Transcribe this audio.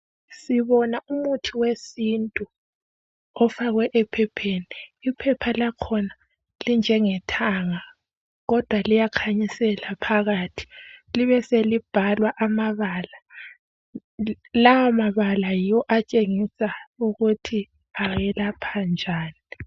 Sibona umuthi wesintu ofakwe ephepheni. Iphepha lakhona linjengethanga kodwa liyakhanyisela phakathi. Libe selibhalwa amabala lawomabala yiwo atshengisa ukuthi ayelapha njani.